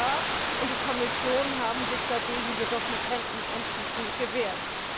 Der Rat und die Kommission haben sich dagegen jedoch mit Händen und Füßen gewehrt.